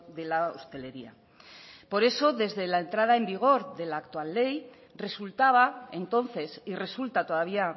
de la hostelería por eso desde la entrada en vigor de la actual ley resultaba entonces y resulta todavía